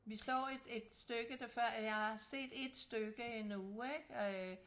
Vi slår et stykke der før jeg har set et stykke endnu ikke øh